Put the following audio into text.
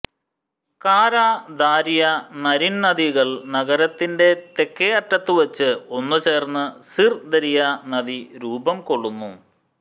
കാരാ Darya Naryn നദികൾ നഗരത്തിന്റെ തെക്കേ അറ്റത്തുവച്ച് ഒന്നുചേർന്ന് സിർ ദരിയ നദി രൂപംകൊള്ളുന്നു